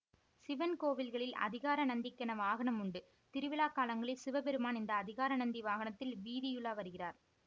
சிவன் கோவில்களில் அதிகார நந்திக்கென வாகனம் உண்டு திருவிழாக்காலங்களில் சிவபெருமான் இந்த அதிகார நந்தி வாகனத்தில் வீதியுலா வருகிறார்